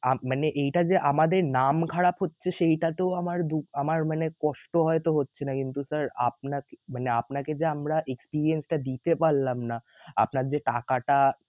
মানে এইটা যে আমাদের নাম খারাপ হচ্ছে সেইটা তো আমার দু~আমার মানে কষ্ট হয়ত হচ্ছে না কিন্তু sir আপনাকে মানে আপনাকে যে আমরা experience টা দিতে পারলাম না আপনার যে টাকাটা